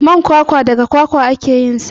Man kwakwa daga kwakwa ake yinsa.